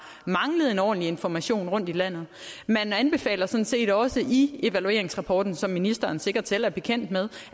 manglet ordentlig information rundt i landet man anbefaler sådan set også i evalueringsrapporten som ministeren sikkert selv er bekendt med